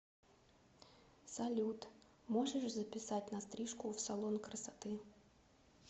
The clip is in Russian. салют можешь записать на стрижку в салон красоты